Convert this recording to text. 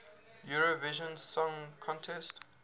eurovision song contest